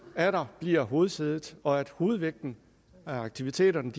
atter bliver hovedsædet og at hovedvægten af aktiviteterne